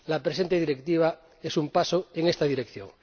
La presente Directiva es un paso en esta dirección.